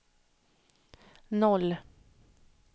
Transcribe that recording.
noll